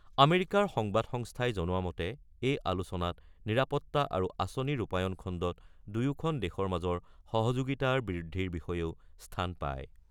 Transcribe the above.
আমেৰিকাৰ সংবাদ সংস্থাই জনোৱা মতে এই আলোচনাত নিৰাপত্তা আৰু আঁচনি ৰূপায়ণ খণ্ডত দুয়োখন দেশৰ মাজৰ সহযোগিতাৰ বৃদ্ধিৰ বিষয়েও স্থান পায়।